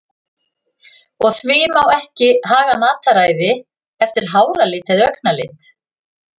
Og því þá ekki að haga mataræði eftir háralit eða augnlit?